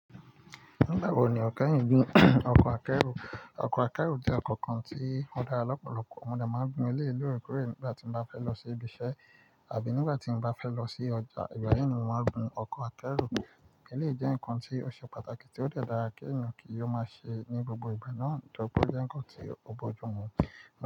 Nígbà wo ni keyìí ń gun ọkọ̀ akẹ́rù? Ọkọ̀ akẹ́rù jẹ́ ọkọ̀ kan tí ó dára lọ́pọ̀lọpọ̀. Mo de máa ń gun eleyi lóore koore nígbà tí mo bá fẹ́ lọ sí ibiṣẹ́ àbí nígbà tí mo bá fẹ́ lọ sí ọjà. Ìgbà yi ni mo máa ń gun ọkọ̀ akẹ́rù. Elèyi jẹ́ ǹkan tí ó ṣe pàtàkì tí ó de dára kí èyan kí ó máa ṣe ní gbogbo ìgbà náà ntori pe o jẹ́ ǹkan tí ó bójú mu.